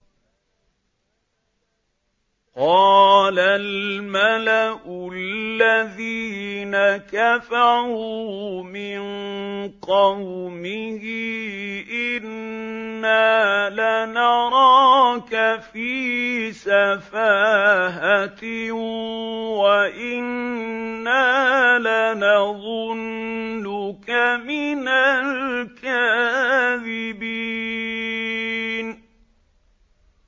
قَالَ الْمَلَأُ الَّذِينَ كَفَرُوا مِن قَوْمِهِ إِنَّا لَنَرَاكَ فِي سَفَاهَةٍ وَإِنَّا لَنَظُنُّكَ مِنَ الْكَاذِبِينَ